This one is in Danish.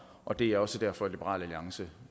og det er også derfor at liberal alliance